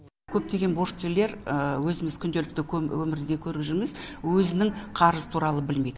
көптеген борышкерлер өзіміз күнделікті өмірде көріп жүрміз өзінің қарызы туралы білмейді